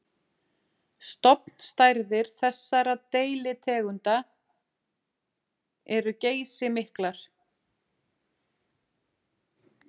Stofnstærðir þessara deilitegunda eru geysimiklar.